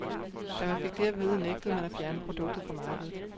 Da man fik det at vide, nægtede man at fjerne produktet fra markedet.